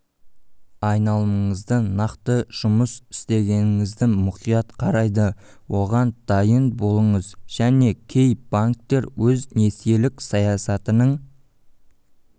айналымыңызды нақты жұмыс істегеніңізді мұқият қарайды оған дайын болыңыз және кей банктер өз несиелік саясатының